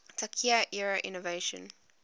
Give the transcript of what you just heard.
taika era innovation